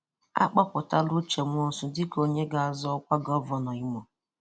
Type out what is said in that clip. À kpọpụtala Ụche Nwosu dịka onye ga-azọ ọkwa ọkwa Gọvanọ Ìmò.